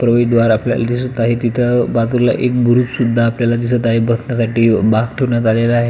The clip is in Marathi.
प्रवेशद्वार आपल्याला दिसत आहे तिथ बाजूला एक बुरुजसुद्धा आपल्याला दिसत आहे बसण्यासाठी बाक सुद्धा ठेवण्यात आलेला आहे.